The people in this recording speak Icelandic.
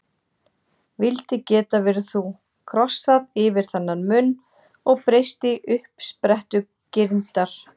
Vildi geta verið þú, krossað yfir þennan mun og breyst í uppsprettu girndar.